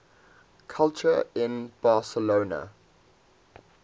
culture in barcelona